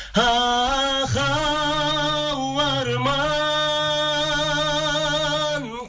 ахау арман